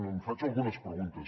em faig algunes preguntes